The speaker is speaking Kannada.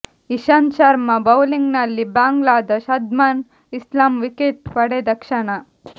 ಇಶಾಂತ್ ಶರ್ಮಾ ಬೌಲಿಂಗ್ ನಲ್ಲಿ ಬಾಂಗ್ಲಾದ ಶಾದ್ಮನ್ ಇಸ್ಲಾಂ ವಿಕೆಟ್ ಪಡೆದ ಕ್ಷಣ